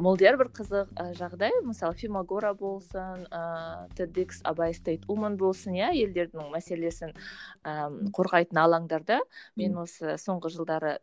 молдияр бір і қызық жағдай мысалы фемогора болсын ыыы тед икс абайстейдуман болсын иә елдердің мәселесін ііі қорғайтын алаңдарда мен осы соңғы жылдары